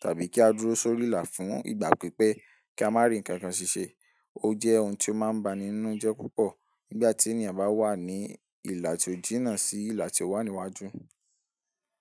tàbí kí á dúró sórí ìlà fún ìgbà pípẹ́ kí a má rí ǹkan kan ṣiṣẹ́. O jẹ́ ohun tí o máa ń ba ni inú jẹ́ púpọ̀ nígbà tí ènìyàn bá wà ní ìlà tí ó jínà sí ìlà tí ó wà níwájú.